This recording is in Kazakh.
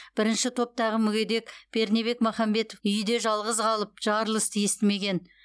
бірінші топтағы мүгедек пернебек махамбетов үйде жалғыз қалып жарылысты естімеген